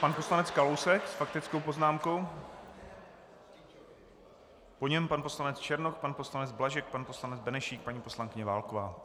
Pan poslanec Kalousek s faktickou poznámkou, po něm pan poslanec Černoch, pan poslanec Blažek, pan poslanec Benešík, paní poslankyně Válková.